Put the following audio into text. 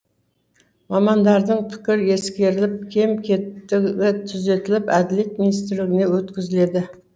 мамандардың пікірі ескеріліп кем кетігі түзетіліп әділет министрлігіне өткізіледі